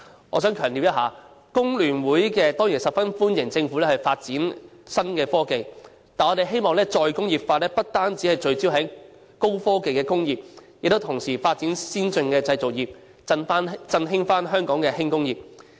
我想強調，工聯會當然十分歡迎政府發展新科技，但我希望再工業化不單聚焦於高科技的工業，同時亦須發展先進的製造業，重新振興香港的輕工業。